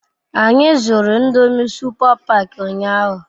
Anyi zuru ndomi supa pak unyahu